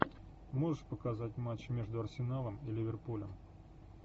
можешь показать матч между арсеналом и ливерпулем